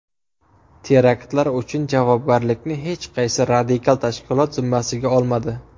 Teraktlar uchun javobgarlikni hech qaysi radikal tashkilot zimmasiga olmadi.